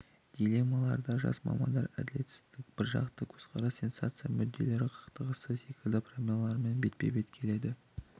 дилеммаларда жас мамандар әділетсіздік біржақты көзқарас сенсация мүдделер қақтығысы секілді проблемалармен бетпе-бет келеді